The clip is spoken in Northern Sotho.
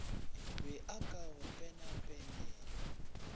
be a ka go penapenela